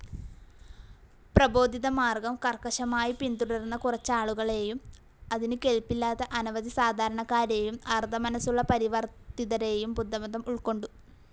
പ്രബോധിതമാർഗ്ഗം കർ‌ക്കശമായി പിൻ‌തുടർന്ന കുറച്ചാളുകളെയും, അതിനു കെൽപ്പില്ലാത്ത അനവധി സാധാരണക്കാരെയും, അർദ്ധമനസ്സുള്ള പരിവർത്തിതരെയും ബുദ്ധമതം ഉൾക്കൊണ്ടു.